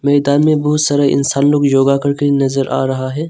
मैदान में बहुत सारा इंसान लोग योगा करके नजर आ रहा है।